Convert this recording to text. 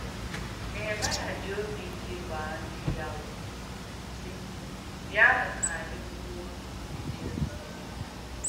Nèhèmàịà jì òbì ìkè gbàà ndí ya ùmè, sị̀: “Bị̀anụ̀ ka ànyị̣ wuò mgbìdì Jèrùsèlèm.”